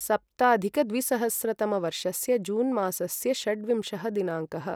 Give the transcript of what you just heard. सप्ताधिकद्विसहस्रतमवर्षस्य जून् मासस्य षड्विंशः दिनाङ्कः